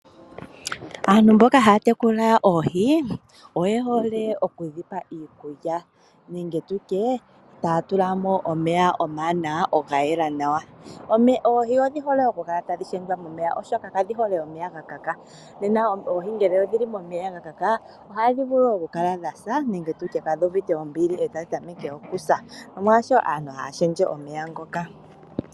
Aantu mboka haya tekula oohi oye hole okudhi pa iikulya nenge tutye taya tula mo omeya omawanawa gayela nawa. Oohi odhi hole oku kala tadhi shendjwa momeya oshoka kadhihole omeya gakaka, nena ngele oohi odhili momeya mwakaka ohadhi vulu oku kala dha sa nenge tutye kaadhuuvite ombili e tadhi tameke oku sa, nomolwaasho aantu haya shendje omeya ngoka.